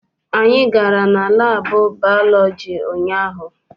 Anyị gara na laabụ baalọji ụnyaahụ.